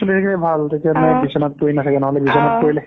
চলি থাকিলে ভাল তেতিয়া বিচনাত পৰি নাথাকে নহ'লে বিচনাত পৰিলে